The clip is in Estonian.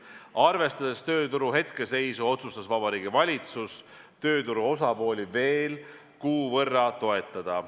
Arvestades tööturu hetkeseisu, otsustas Vabariigi Valitsus tööturu osapooli veel kuu võrra toetada.